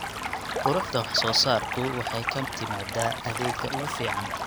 Quruxda wax soo saarku waxay ka timaadaa adeegga ugu fiican.